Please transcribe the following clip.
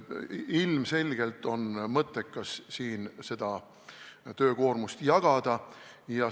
Ilmselgelt on mõttekas seda töökoormust jagada.